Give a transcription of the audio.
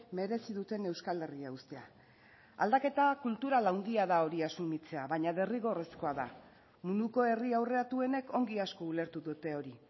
merezi duten euskal herria uztea aldaketa kultural handia da hori asumitzea baina derrigorrezkoa da munduko herri aurreratuenek ongi asko ulertu dutehori